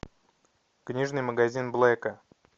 книжный магазин блэка